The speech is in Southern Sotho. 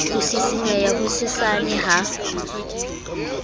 ho sisinyeha ho hosesane ha